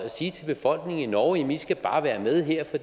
sige til befolkningen i norge i skal bare være med her for